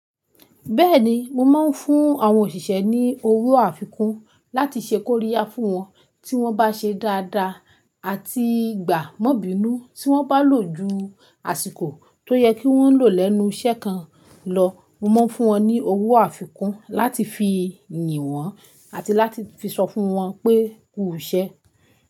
Bẹ́ẹ̀ni, mo máa ń fún àwọn òṣìṣẹ́ ní owó àfikún láti ṣe koríya fún wọn, tí wọ́n bá ṣe dáadáa àti gbà mọ́binú tí wọ́n bá lò ju àsìkò tó yẹ kí wọ́n lò lẹ́nu iṣẹ́ kan lọ. Mo máa ń fún wọn ní owó àfikún láti fi yìn wọ́n àti láti fi sọ fún wọn pé kú ṣẹ́.